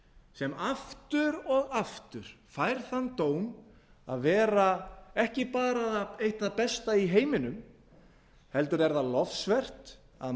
sem aftur og aftur fær þann dóm að vera ekki bara eitt það besta í heiminum heldur er það lofsvert að